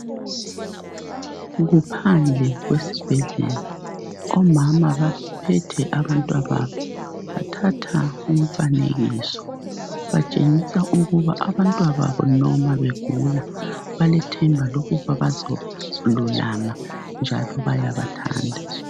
Kuphandle kwesibhedlela omama baphethe abantwababo bathatha umfanekiso batshengisa ukuba abantwababo noma begula balethemba lokuba bazolulama njalo bayabathanda